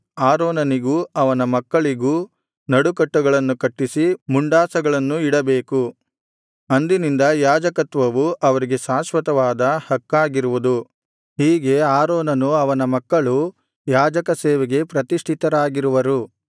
ಆರೋನನಿಗೂ ಅವನ ಮಕ್ಕಳಿಗೂ ನಡುಕಟ್ಟುಗಳನ್ನು ಕಟ್ಟಿಸಿ ಮುಂಡಾಸಗಳನ್ನು ಇಡಬೇಕು ಅಂದಿನಿಂದ ಯಾಜಕತ್ವವು ಅವರಿಗೆ ಶಾಶ್ವತವಾದ ಹಕ್ಕಾಗಿರುವುದು ಹೀಗೆ ಆರೋನನೂ ಅವನ ಮಕ್ಕಳೂ ಯಾಜಕ ಸೇವೆಗೆ ಪ್ರತಿಷ್ಠಿತರಾಗಿರುವರು